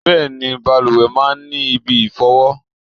Bẹẹni, bàlùwẹ̀ máa ń ní ibi ìfọ̀wọ.